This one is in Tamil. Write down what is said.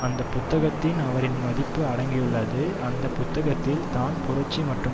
அந்த புத்தகத்தில் அவரின் மதிப்பு அடங்கியுள்ளது அந்த புத்தகத்தில் தான் புரட்சி மற்றும்